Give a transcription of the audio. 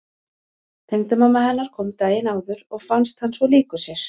Tengdamamma hennar kom daginn áður og fannst hann svo líkur sér.